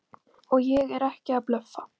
Og ég er ekki að blöffa!